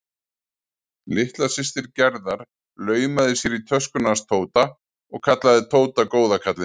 Litla systir Gerðar laumaði sér í töskuna hans Tóta og kallaði Tóta góða kallinn.